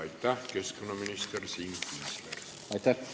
Aitäh, keskkonnaminister Siim Kiisler!